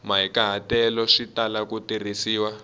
mahikahatelo swi tala ku tirhisiwa